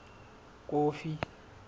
kofi